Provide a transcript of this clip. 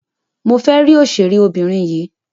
Mo fẹ́ rí òṣèré obìnrin yìí.